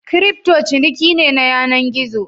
Kirifto ciniki ne na yanan gizo.